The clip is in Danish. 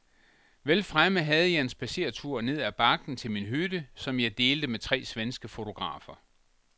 Vel fremme havde jeg en spadseretur ned ad bakken til min hytte, som jeg delte med tre svenske fotografer.